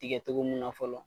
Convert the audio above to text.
Tikɛ cogo mun na fɔlɔ.